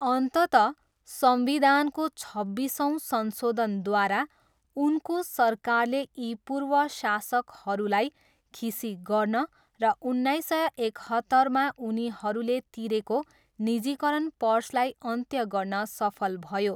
अन्ततः संविधानको छब्बिसौँ संशोधनद्वारा उनको सरकारले यी पूर्व शासकहरूलाई खिसी गर्न र उन्नाइस सय एकहत्तरमा उनीहरूले तिरेको निजीकरण पर्सलाई अन्त्य गर्न सफल भयो।